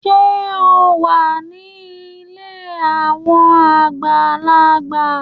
Ṣe o wá ní ilé awọn àgbàlagbà?